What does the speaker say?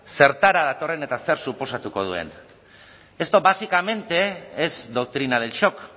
zertara datorren eta zer suposatuko duen esto básicamente es doctrina del shock